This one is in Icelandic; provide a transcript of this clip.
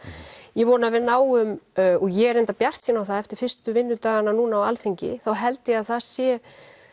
ég vona að við náum og ég er bjartsýn á það að eftir fyrstu vinnudagana núna á Alþingi þá held ég að það sé